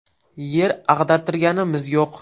Yer ag‘dartirganimiz yo‘q.